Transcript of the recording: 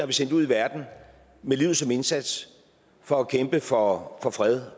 vi sendt ud i verden med livet som indsats for at kæmpe for for fred